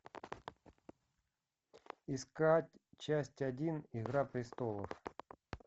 искать часть один игра престолов